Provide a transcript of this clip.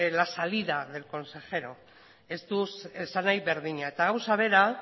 la salida del consejero ez du esanahi berdina eta gauza bera